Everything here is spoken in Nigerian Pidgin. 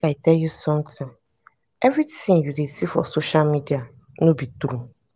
make i tell you something. everything you dey see for social media no be true.